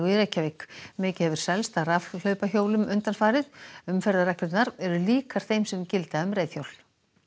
í Reykjavík mikið hefur selst af rafhlaupahjólum undanfarið umferðarreglurnar eru líkar þeim sem gilda um reiðhjól